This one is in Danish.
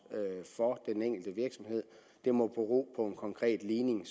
for den enkelte virksomhed det må bero på en konkret ligning